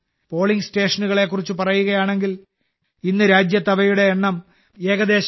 polling സ്റ്റേഷനുകളെക്കുറിച്ച് പറയുകയാണെങ്കിൽ ഇന്ന് രാജ്യത്ത് അവയുടെ എണ്ണം ഏകദേശം 10